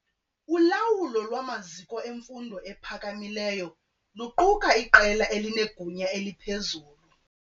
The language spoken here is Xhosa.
Ulawulo lwamaziko emfundo ephakamileyo luquka iqela elinegunya eliphezulu.